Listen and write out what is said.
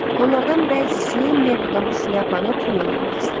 Onlardan bəzisi Mabledan buşlyapanı pulla almaq istədilər.